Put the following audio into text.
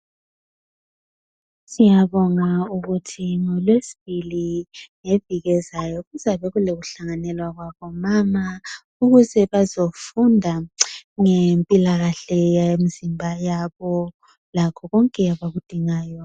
Siyabonga ukuthi ngolwesibili ngeviki elizayo kuzabe kulomhlangano wabomama ukuze bazofunda ngezempilakahle yemzimba yabo lakho konke abakudingayo.